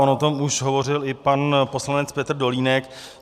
On o tom už hovořil i pan poslanec Petr Dolínek.